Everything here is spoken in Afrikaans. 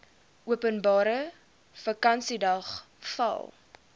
openbare vakansiedag val